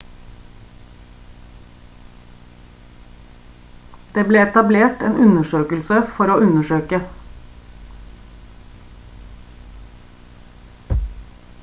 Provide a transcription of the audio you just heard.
det ble etablert en undersøkelse for å undersøke